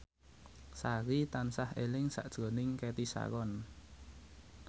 Sari tansah eling sakjroning Cathy Sharon